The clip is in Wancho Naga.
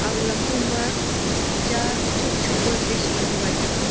aga lampong ma cha jut jut pe bridge panu gai taiga.